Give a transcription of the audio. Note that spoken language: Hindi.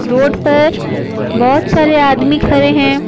रोड पर बहुत सारे आदमी खड़े हैं।